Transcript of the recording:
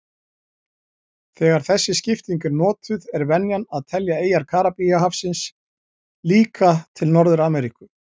Þegar þessi skipting er notuð er venjan að telja eyjar Karíbahafsins líka til Norður-Ameríku.